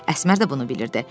Əsmər də bunu bilirdi.